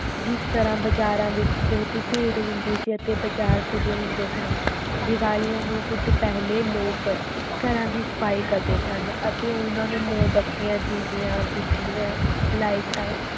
ਜਿਸ ਤਰ੍ਹਾਂ ਬਜ਼ਾਰਾਂ ਵਿੱਚ ਬਹੁਤੀ ਭੀੜ ਹੁੰਦੀ ਸੀ ਅਤੇ ਬਾਜ਼ਾਰ ਸਜੇ ਹੁੰਦੇ ਸਨ, ਦੀਵਾਲੀਆਂ ਨੂੰ ਕੁੱਝ ਪਹਿਲੇ ਲੋਕ ਘਰਾਂ ਦੀ ਸਫ਼ਾਈ ਕਰਦੇ ਸਨ ਅਤੇ ਉਹਨਾਂ ਨੂੰ ਮੋਮਬੱਤੀਆਂ, ਦੀਵਿਆਂ, ਬਿਜ਼ਲੀਆਂ ਲਾਇਟਾਂ